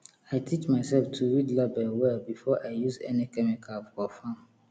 i teach myself to read label well before i use any chemical for farm